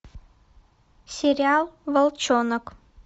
сериал волчонок